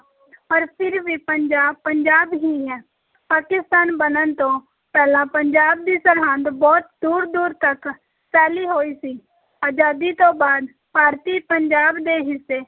ਪਰ ਫਿਰ ਵੀ ਪੰਜਾਬ, ਪੰਜਾਬ ਹੀ ਹੈ, ਪਾਕਿਸਤਾਨ ਬਣਨ ਤੋਂ ਪਹਿਲਾਂ ਪੰਜਾਬ ਦੀ ਸਰਹੱਦ ਬਹੁਤ ਦੂਰ-ਦੂਰ ਤੱਕ ਫੈਲੀ ਹੋਈ ਸੀ ਅਜ਼ਾਦੀ ਤੋਂ ਬਾਅਦ ਭਾਰਤੀ ਪੰਜਾਬ ਦੇ ਹਿੱਸੇ